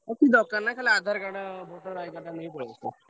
କିଛି ଦରକାର ନାହିଁ ଖାଲି ଆଧାର କାର୍ଡ, ଭୋଟର କାର୍ଡ ନେଇ ପଲେଇ ଆସିବ।